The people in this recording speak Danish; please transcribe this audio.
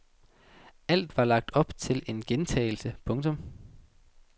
Alt var lagt op til en gentagelse. punktum